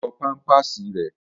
Yọ pámpàsì rẹ̀!